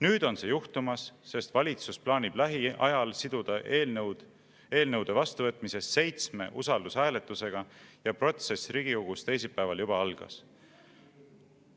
Nüüd on see juhtumas, sest valitsus plaanib lähiajal siduda eelnõude vastuvõtmise seitsme usaldushääletusega ja protsess riigikogus teisipäeval juba algas.